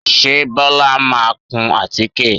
Ṣe Bọ́lá máa kun àtíké?